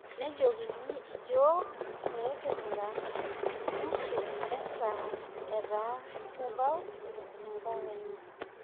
Nejokini yiok pekekirura nusu saa etaa kebau enkankenya